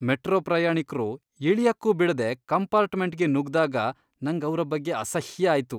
Metro ಪ್ರಯಾಣಿಕ್ರು ಇಳಿಯಕ್ಕೂ ಬಿಡದೆ ಕಂಪಾರ್ಟ್ಮೆಂಟ್ಗೆ ನುಗ್ದಾಗ ನಂಗ್ ಅವ್ರ ಬಗ್ಗೆ ಅಸಹ್ಯ ಆಯ್ತು.